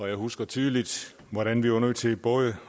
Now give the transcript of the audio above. jeg husker tydeligt hvordan vi var nødt til både